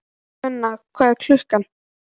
Sveina, hvað er klukkan?